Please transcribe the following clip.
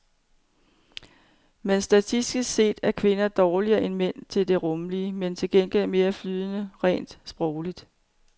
Men statistisk set er kvinder dårligere end mænd til det rumlige, men til gengæld mere flydende rent sprogligt.